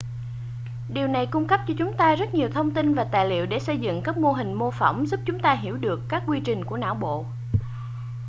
điều này cung cấp cho chúng ta rất nhiều thông tin và tài liệu để xây dựng các mô hình mô phỏng giúp chúng ta hiểu được các quy trình của não bộ